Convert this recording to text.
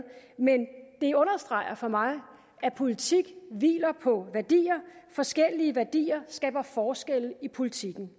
men det understreger for mig at politik hviler på værdier forskellige værdier skaber forskelle i politikken